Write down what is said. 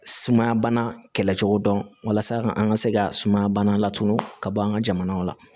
Sumaya bana kɛlɛ cogo dɔn walasa ka an ka se ka sumaya bana latunu ka bɔ an ka jamanaw la